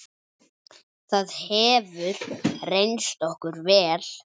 Það hefur reynst okkur vel.